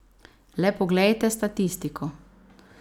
Le poglejte statistiko.